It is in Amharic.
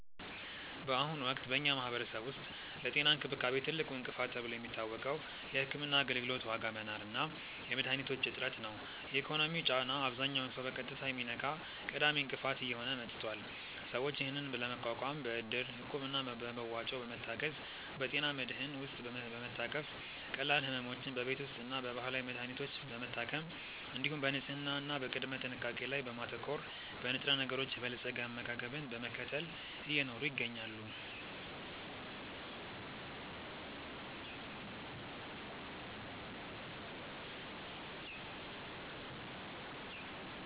በአሁኑ ወቅት በኛ ማህበረሰብ ውስጥ ለጤና እንክብካቤ ትልቁ እንቅፋት ተብሎ የሚታወቀው የሕክምና አገልግሎት ዋጋ መናር እና የመድኃኒቶች እጥረት ነው። የኢኮኖሚው ጫና አብዛኛውን ሰው በቀጥታ የሚነካ ቀዳሚ እንቅፋት እየሆነ መጥቷል። ሰዎች ይህንን ለመቋቋም በእድር፣ እቁብ እና በመዋጮ በመታገዝ፣ በጤና መድህን ውስጥ በመታቀፍ፣ ቀላል ሕመሞችን በቤት ውስጥና በባህላዊ መድሀኒቶች በመታከም፣ እንዲሁም በንጽህና እና በቅድመ ጥንቃቄ ላይ በማተኮር፣ በንጥረነገሮች የበለፀገ አመጋገብን በመከተል እየኖሩ ይገኛሉ።